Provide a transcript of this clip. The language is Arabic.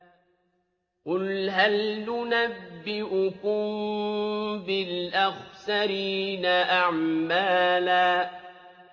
قُلْ هَلْ نُنَبِّئُكُم بِالْأَخْسَرِينَ أَعْمَالًا